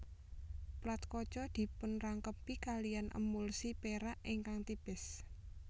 Plat kaca dipunrangkepi kaliyan emulsi perak ingkang tipis